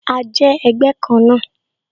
A jẹ́ ẹgbẹ́ kan náà